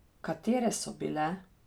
Katere so bile?